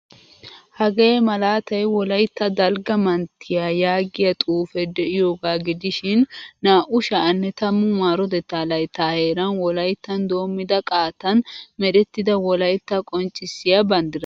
Hagee malatay wolaytta dalgga manttiyaa yaagiyaa xuufe de'iyoga gidishin naa'u sha'anne tammu marotetta laytta heeran wolayttan doommida qaattan merettida wolaytta qonccissiya banddira.